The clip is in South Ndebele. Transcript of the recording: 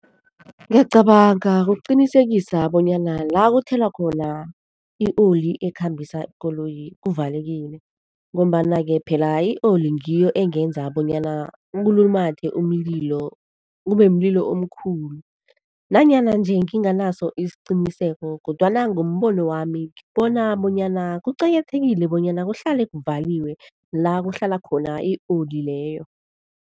Ngiyacabanga ngokuqinisekisa bonyana la kuthelwa khona i-oli ekhambisa ikoloyi kuvalekile ngombana-ke phela i-oli ngiyo engenza bonyana kulumathe umlilo kube mlilo omkhulu nanyana nje nginganaso isiqiniseko kodwana ngombono wami ngibona bonyana kuqakathekile bonyana kuhlale kuvaliwe la kuhlala khona i-oli leyo.